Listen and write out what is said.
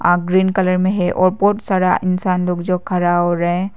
आप green colour में है और बहुत सारा इंसान लोग जो खड़ा हो रहे हैं।